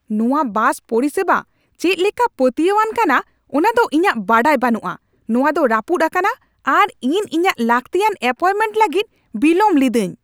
ᱱᱚᱶᱟ ᱵᱟᱥ ᱯᱚᱨᱤᱥᱮᱵᱟ ᱪᱮᱫ ᱞᱮᱠᱟ ᱯᱟᱹᱛᱭᱟᱹᱣᱟᱱ ᱠᱟᱱᱟ ᱚᱱᱟ ᱫᱚ ᱤᱧᱟᱹᱜ ᱵᱟᱰᱟᱭ ᱵᱟᱹᱱᱩᱜᱼᱟ ᱾ ᱱᱚᱣᱟ ᱫᱚ ᱨᱟᱹᱯᱩᱫ ᱟᱠᱟᱱᱟ, ᱟᱨ ᱤᱧ ᱤᱧᱟᱹᱜ ᱞᱟᱹᱠᱛᱤᱭᱟᱱ ᱮᱹᱯᱚᱭᱢᱮᱱᱴ ᱞᱟᱹᱜᱤᱫ ᱵᱤᱞᱚᱢ ᱞᱤᱫᱟᱹᱧ ᱾